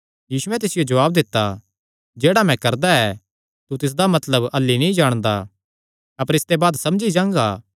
यीशुयैं तिसियो जवाब दित्ता जेह्ड़ा मैं करदा ऐ तू तिसदा मतलब अह्ल्ली नीं जाणदा अपर इसते बाद समझी जांगा